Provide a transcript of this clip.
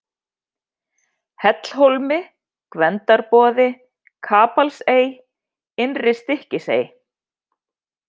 Hellhólmi, Gvendarboði, Kapalsey, Innri-Stykkisey